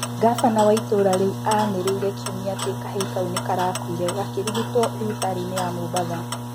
Ngabana wa itũra rĩu anĩrĩire kiumia atĩ kahĩĩ kaũ nĩkarakũire gakĩrigitĩrwo thibitarĩ-inĩ ya Mombatha